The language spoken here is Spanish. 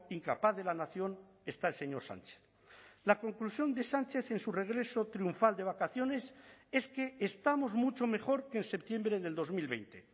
incapaz de la nación está el señor sánchez la conclusión de sánchez en su regreso triunfal de vacaciones es que estamos mucho mejor que en septiembre del dos mil veinte